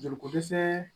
Joli ko dɛsɛ